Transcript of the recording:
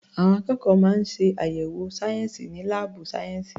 Àwọn akẹ́kọ̀ọ́ máa ń ṣe àyẹ̀wò sayensi ní laabu sayensi.